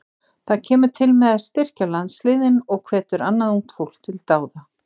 Það kemur til með að styrkja landsliðin og hvetur annað ungt fólk til dáða.